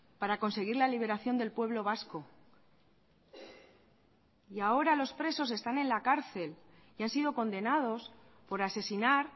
para conseguir la liberación del pueblo vasco y ahora los presos están en la cárcel y han sido condenados por asesinar